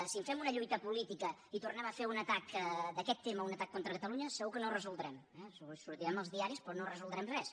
si en fem una llui·ta política i tornem a fer d’aquest tema un atac contra catalunya segur que no ho resoldrem sortirem als di·aris però no resoldrem res